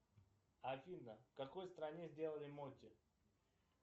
афина в какой стране сделали моти